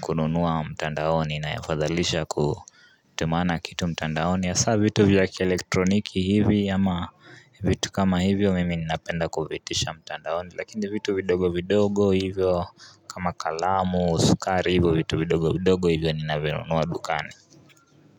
kununua mtandaoni nina yafadhalisha kutumana kitu mtandaoni hasaa vitu vya kielektroniki hivi ama vitu kama hivyo mimi ninapenda kuviitisha mtandaoni lakini vitu vidogo vidogo hivyo kama kalamu sukari hivyo vitu vidogo vidogo hivyo ninavinunua dukani.